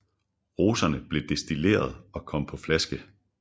Roserne blev destilleret og kom på flaske